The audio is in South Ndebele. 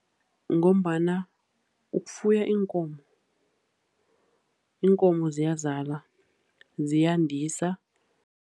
Ngombana ukufuya iinkomo, iinkomo ziyazala, ziyandisa.